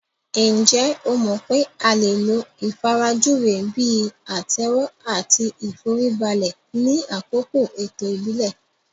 Ǹjẹ́ o mọ̀ pé a lè lo ìfarajúwe bíi àtẹ́wọ́ àti ìforíbalẹ̀ ni àkókò ètò ìbílẹ̀